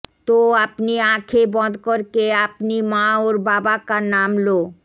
তো আপনি আঁখে বন্ধ করকে আপনি মা অওর বাবাকা নাম লো